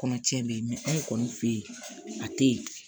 Kɔnɔ cɛn be yen anw kɔni fe yen a te yen